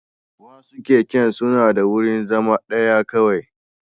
Wasu keken suna da wurin zama ɗaya kawai